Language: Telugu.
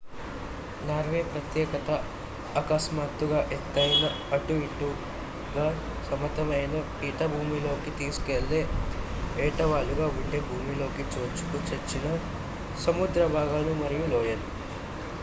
నార్వే ప్రత్యేకత అకస్మాత్తుగా ఎత్తైన అటు ఇటుగా సమతలమైన పీఠభూమి లోకి తీసుకెళ్లే ఏటవాలుగా ఉండే భూమిలోకి చొచ్చుకు వచ్చిన సముద్ర భాగాలు మరియు లోయలు